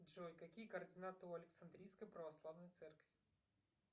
джой какие координаты у александрийской православной церкви